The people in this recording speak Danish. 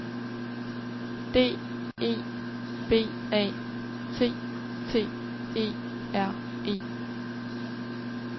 D E B A T T E R E